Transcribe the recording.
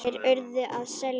Þeir URÐU að selja.